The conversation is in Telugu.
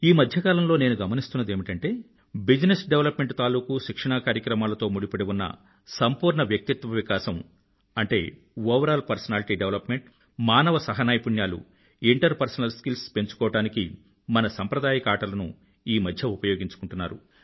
ఈమధ్యకాలంలో నేను గమనిస్తున్నదేమిటంటే బిజినెస్ డేవలప్మెంట్ తాలూకూ శిక్షణా కార్యక్రమాలతో ముడిపడి ఉన్న సంపూర్ణ వ్యక్తిత్వ వికాసంoverall పర్సనాలిటీ డెవలప్మెంట్ మానవ సహ నైపుణ్యాలుinterpersonal స్కిల్స్ పెంచుకోవడానికి మన సంప్రదాయక ఆటలను ఈమధ్య ఉపయోగించుకుంటున్నారు